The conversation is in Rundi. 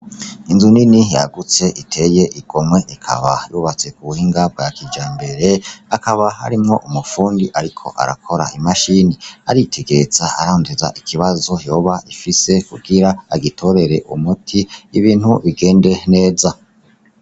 Inzu nini yagutse iteye igomwe ikaba yubatse ku buhinga bwa kija imbere akaba harimwo umupfundi, ariko arakora imashini aritegereza arondeza ikibazo yoba ifise kugira agitorere umuti ibintu bigende neza.